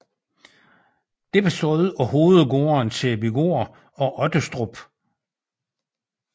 Det bestod af hovedgårdene Sæbygaard og Ottestrup